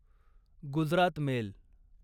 Gujarat mail